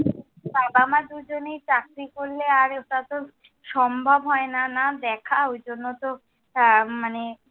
বাবা মা দুজনেই চাকরি করলে আর ওটা তো সম্ভব হয় না, না দেখা। ওই জন্য তো, হ্যাঁ মানে,